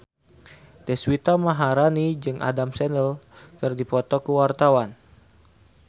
Deswita Maharani jeung Adam Sandler keur dipoto ku wartawan